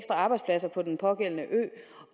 arbejdspladser på den pågældende ø